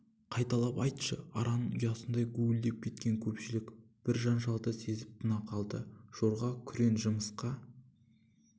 қайталап айтшы араның ұясындай гуілдеп кеткен көпшілік бір жанжалды сезіп тына қалды жорға күрең жымысқы